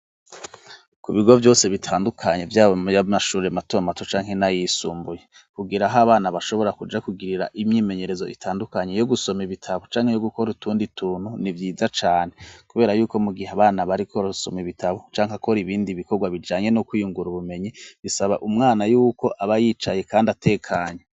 Ku bigo vyose bitandukanye vyaba ayamashure matomato canke n'ayisumbuye kugira aho abana bashobora kuja kugirira imyimenyerezo itandukanye yo gusoma ibitabo canke yo gukora utundi tuntu ni vyiza cane, kubera yuko mu gihe abana bariko barasoma ibitabo canke bakora ibindi bikorwa bijanye no kwiyungura ubumenyi bisaba umwana yuko abayicaye kandi atekanye.